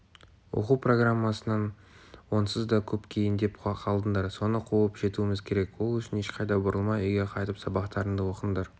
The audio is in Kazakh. оқу программасынан онсыз да көп кейіндеп қалдыңдар соны қуып жетуіміз керек ол үшін ешқайда бұрылмай үйге қайтып сабақтарыңды оқыңдар